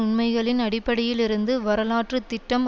உண்மைகளின் அடிப்படையில் இருந்து வரலாற்று திட்டம்